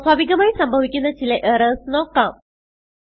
സ്വാഭാവികമായി സംഭവിക്കുന്ന ചില എറർസ് നോക്കാം